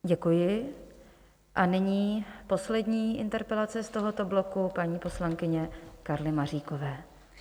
Děkuji a nyní poslední interpelace z tohoto bloku paní poslankyně Karly Maříkové.